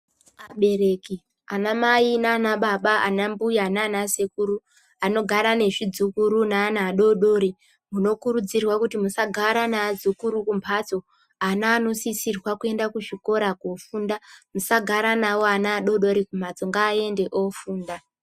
Abereki, anamai naanababa, anambuya naana sekuru anogara nezvidzukuru neana adoodori munokurudzirwa kuti musagara neazukuru kumbatso. Ana anosisirwa kuenda kuzvikora koofunda. Musagara navo ana adoodori kumhatso, ngaaende oofunda.